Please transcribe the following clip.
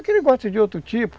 Aqui ele gosta de outro tipo.